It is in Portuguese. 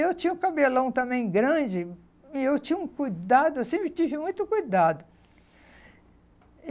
Eu tinha o cabelão também grande, e eu tinha um cuidado, eu sempre tive muito cuidado.